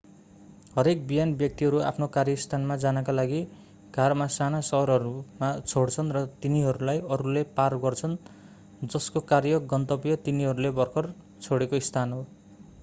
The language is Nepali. हरेक बिहान व्यक्तिहरू आफ्नो कार्यस्थानमा जानका लागि कारमा साना सहरहरू छोड्छन् र तिनीहरूलाई अरूले पार गर्छन् जसको कार्य गन्तव्य तिनीहरूले भर्खर छोडेको स्थान हो